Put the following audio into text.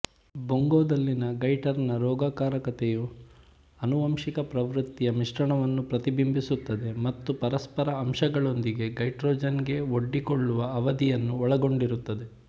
ಬೊಂಗೊದಲ್ಲಿನ ಗಾಯಿಟರ್ನ ರೋಗಕಾರಕತೆಯು ಆನುವಂಶಿಕ ಪ್ರವೃತ್ತಿಯ ಮಿಶ್ರಣವನ್ನು ಪ್ರತಿಬಿಂಬಿಸುತ್ತದೆ ಮತ್ತು ಪರಿಸರ ಅಂಶಗಳೊಂದಿಗೆ ಗೈಟ್ರೋಜನ್ಗೆ ಒಡ್ಡಿಕೊಳ್ಳುವ ಅವಧಿಯನ್ನು ಒಳಗೊಂಡಿರುತ್ತದೆ